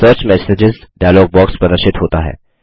search messages dialog box प्रदर्शित होता है